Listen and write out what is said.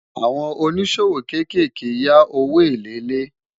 àwọn òní ṣòwò kékèké yá òwò èlé lè